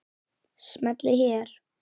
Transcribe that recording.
Smellið hér.